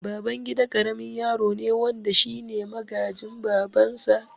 Babangida karamin yaro ne wanda shine magaji babansa